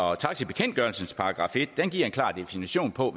og taxibekendtgørelsens § en giver en klar definition på